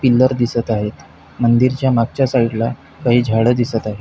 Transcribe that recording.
Pillar दिसत आहेत मंदिरच्या मागच्या साइडला काही झाड दिसत आहेत.